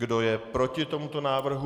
Kdo je proti tomuto návrhu?